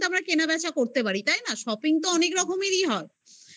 কেনাবেচা করতে পারি তাই না? shopping তো অনেক রকমেরই হয়